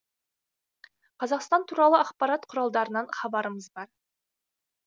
қазақстан туралы ақпарат құралдарынан хабарымыз бар